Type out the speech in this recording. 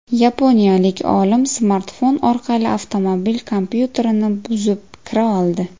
Yaponiyalik olim smartfon orqali avtomobil kompyuterini buzib kira oldi.